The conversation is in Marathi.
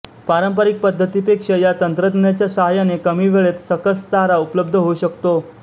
पारंपरिक पद्धतीपेक्षा या तंत्रज्ञानाच्या साहाय्याने कमी वेळेत सकस चारा उपलब्ध होऊ शकतो